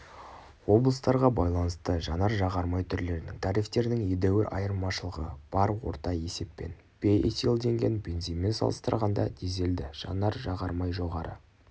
облыстарға байланысты жанар-жағар май түрлерінің тарифтерінің едуір айырмашылығы бар орта есеппен бейэтилденген бензинмен салыстырғанда дизельді жанар жағар май жоғары